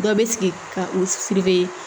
Dɔ bɛ sigi ka u